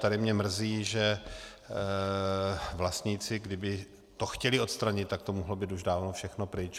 Tady mě mrzí, že vlastníci, kdyby to chtěli odstranit, tak to mohlo být už dávno všechno pryč.